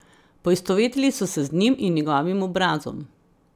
Poistovetili so se z njim in njegovim obrazom.